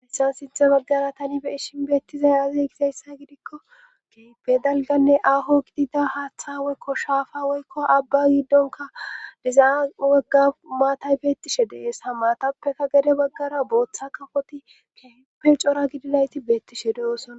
Haysape sinthe baggara tali be ishin beettizay azey gizayssa gidikko keepe dalganne aho qidida haaththa woykko shaafa woykko abba giddonka dizaa wagga maatay beettishe deesa maatappeka gade baggara booththa kafoti keepe cora gidilayti beettishe deosona